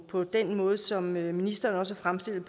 på den måde som ministeren også fremstillede